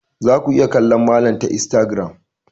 Za ku iya kallon malam ta instagram.